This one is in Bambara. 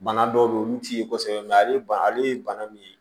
Bana dɔw be ye olu ti ye kosɛbɛ ale ba ale ye bana min ye